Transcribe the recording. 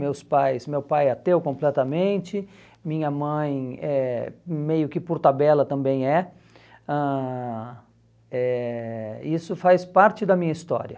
meus pais, meu pai é ateu completamente, minha mãe é meio que por tabela também é, ãh eh, isso faz parte da minha história.